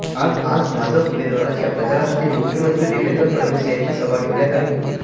आज भाजप उमेदवारांच्या प्रचारासाठी मुख्यमंत्री देवेंद्र फडणवीस यांची सभा ठेवण्यात आली होती